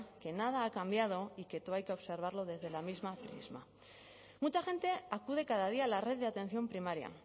que nada ha cambiado y que todo hay que observarlo desde el mismo prisma mucha gente acude cada día la red de atención primaria